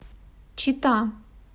чита